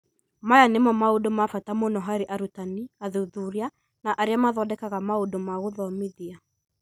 Maya nĩmo maũndũ ma bata mũno harĩ arutani, athuthuria, na arĩa mathondekaga maũndũ ma gũthomithia.